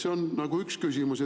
See on nagu üks küsimus.